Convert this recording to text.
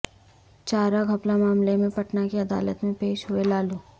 چارہ گھپلہ معاملے میں پٹنہ کی عدالت میں پیش ہوئے لالو